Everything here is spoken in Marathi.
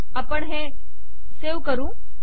आपण हे सेव्ह करू